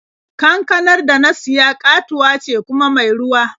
Kankanar da na siya ƙatuwa ce kuma mai ruwa.